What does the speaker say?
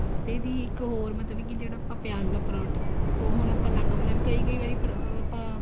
ਤੇ ਦੀ ਇੱਕ ਹੋਰ ਮਤਲਬ ਕੀ ਜਿਹੜਾ ਆਪਾਂ ਪਿਆਜ ਦਾ ਪਰੋਂਠਾ ਉਹ ਹੁਣ ਆਪਾਂ ਅੱਲਗ ਬਣਾਦੇ ਕਈ ਕਈ ਵਾਰੀ ਪਰ ਆਪਾਂ